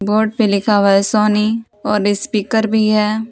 Board पे लिखा हुआ है सोनी और स्पीकर भी हैं।